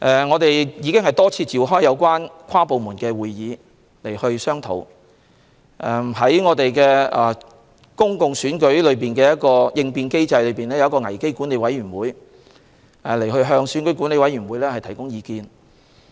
我們已多次召開跨部門會議進行商討，而在公共選舉應變機制下成立的危機管理委員會，會向選管會提供意見。